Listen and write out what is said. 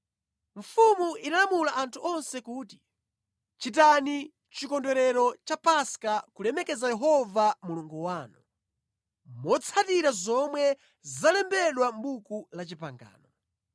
Mfumu inalamula anthu onse kuti, “Chitani Chikondwerero cha Paska kulemekeza Yehova Mulungu wanu, motsatira zomwe zalembedwa mʼBuku la Chipangano.”